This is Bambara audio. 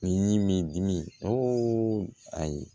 Ni min dimi o a ye